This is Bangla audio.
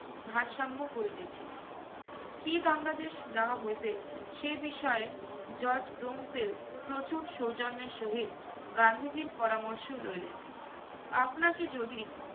ভারসম্য করিতেছি। কি দণ্ডাদেশ দেওয়া হইবে সে বিষয়ে judge ব্রুনফিল্ড প্রচুর সৌজন্যের সহিত গান্ধীজির পরামর্শ লইলেন। আপনাকে যদি